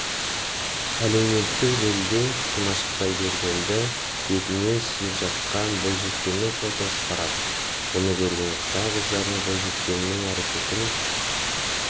әлеуметтік желіде димаш құдайбергенді бетінен сүйіп жатқан бойжеткеннің фотосы тарады мұны көрген қытай қыздары бойжеткеннің әрекетін